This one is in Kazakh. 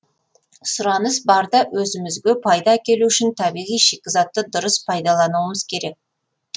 сұраныс бар да өзімізге пайда әкелу үшін табиғи шикізатты дұрыс пайдалануымыз керек